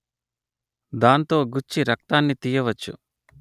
దాంతో గుచ్చి రక్తాన్ని తీయవచ్చు